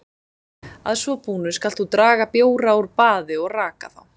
Að svo búnu skalt þú draga bjóra úr baði og raka þá.